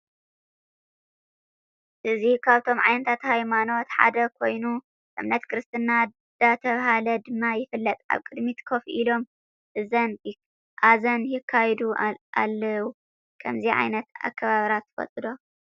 እዚ ካብቶም ዓይነታት ሃይማኖት ሓደ ኮየኑ እምነት ክርስትና ዳተብሃለ ድማ ይፍለጥ ኣብ ቅድሚት ከፍ ኢሎም ኣዛን ይካየዱ ኣልዉ ።ከመዚ ኣይነት አከባብራ ትፈለጡ ዶ?